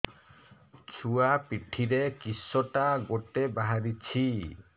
ଛୁଆ ପିଠିରେ କିଶଟା ଗୋଟେ ବାହାରିଛି